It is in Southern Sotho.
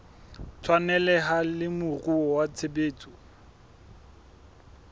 tshwaneleha le moruo wa tshebetso